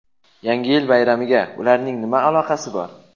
Yangi yil bayramiga ularning nima aloqasi bor?.